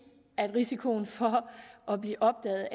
risikoen for at blive opdaget